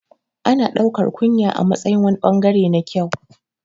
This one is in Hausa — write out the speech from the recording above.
Ana ɗaukar kunya a matsayin wani ɓangare na kyau